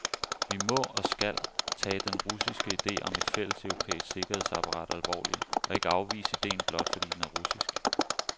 Vi må, og skal, tage den russiske ide om et fælleseuropæisk sikkerhedsapparat alvorlig, og ikke afvise idéen blot fordi den er russisk.